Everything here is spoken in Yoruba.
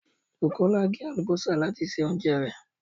Bukola gé àlùbọ́sà láti se oúnjẹ rẹ̀